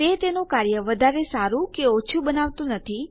તે તેનું કાર્ય વધારે સારું કે ઓછું બનાવતું નથી